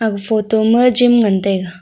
photo ma gym ngan taiga.